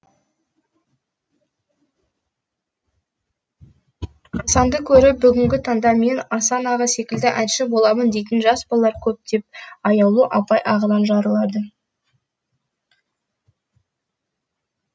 асанды көріп бүгінгі таңда мен асан аға секілді әнші боламын дейтін жас балалар көп деп аяулым апай ағынан жарылыды